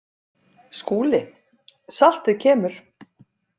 SKÚLI: Saltið kemur.